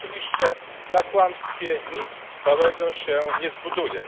Oczywiście na kłamstwie nic trwałego się nie zbuduje.